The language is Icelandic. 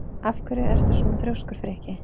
Af hverju ertu svona þrjóskur, Frikki?